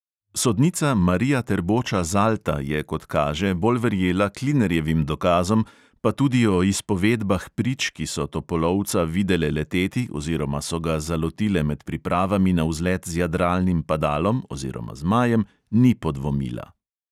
Sodnica marija terboča – zalta je, kot kaže, bolj verjela klinerjevim dokazom pa tudi o izpovedbah prič, ki so topolovca videle leteti oziroma so ga zalotile med pripravami na vzlet z jadralnim padalom oziroma zmajem, ni podvomila.